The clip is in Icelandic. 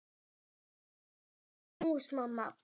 Má ég fá knús, mamma?